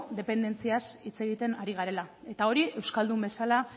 dependentziaz hitz egiten ari garela eta hori euskaldun bezala